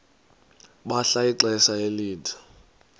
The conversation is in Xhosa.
bahlala ixesha elide